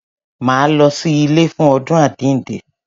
Máa lọ sí ilé fún àjínde.